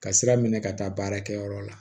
Ka sira minɛ ka taa baarakɛyɔrɔ la